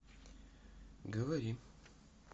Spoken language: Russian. говори